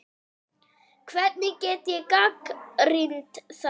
Hvernig get ég gagnrýnt þá?